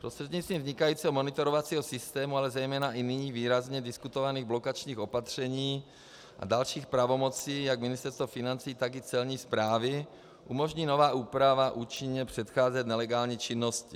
Prostřednictvím vznikajícího monitorovacího systému, ale zejména i nyní výrazně diskutovaných blokačních opatření a dalších pravomocí jak Ministerstva financí, tak i Celní správy umožní nová úprava účinně předcházet nelegální činnosti.